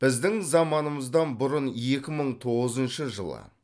біздің заманымыздан бұрын екі мың тоғызыншы жылы